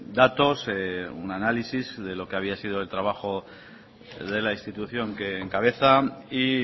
datos un análisis de lo que había sido el trabajo de la institución que encabeza y